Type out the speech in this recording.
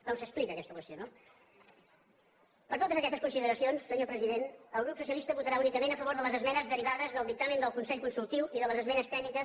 com s’explica aquesta qüestió no per totes aquestes consideracions senyor president el grup socialistes votarà únicament a favor de les esmenes derivades del dictamen del consell consultiu i de les esmenes tècniques